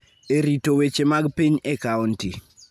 e rito weche mag piny e kaonti.